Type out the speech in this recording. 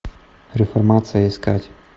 реформация искать